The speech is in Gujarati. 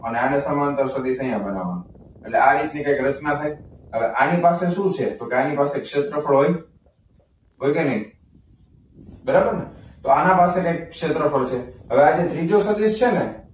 અને આને સમાંતર સદિશ અહીંયા બનાવવાનો અને એટલે આ રીતની કંઈક રચના થાય. હવે આની પાસે શું છે તો કે આની પાસે ક્ષેત્રફળ હોય. હોય કે નહીં? બરાબરને તો આના પાસે ક્ષેત્રફળ છે. હવે આજે ત્રીજો સદિશ છે ને,